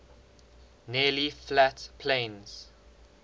nearly flat plains